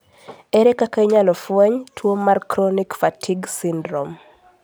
Ere kaka inyalo fweny tuo mar chronic fatigue syndrome?